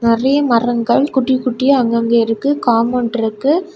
நறைய மரங்கள் குட்டி குட்டிய அங்கங்க இருக்கு. காம்பவுண்டு இருக்கு.